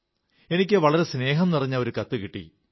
എനിക്ക് വളരെ സ്നേഹം നിറഞ്ഞ ഒരു കത്തു കിട്ടി